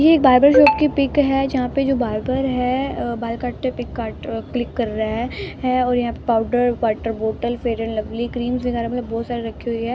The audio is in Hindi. ये एक बार्बर शॉप की पिक है जहाँ पे जो बारबर है बाल काटटे हुए पे पिक काट क्लिक कर रहा है है और यहाँ powder water bottle fair and lovely creams वगैरह बहुत सारी रखी हुई है।